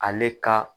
Ale ka